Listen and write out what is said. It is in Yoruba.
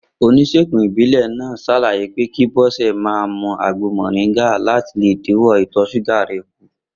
Onís̩ègùn ìbílè̩ náà s̩àlàyé pé kí Bó̩sè̩ ó máa mu àgbo mò̩ríngà láti le dínwó̩ ìtò̩ s̩úgà rè̩ kù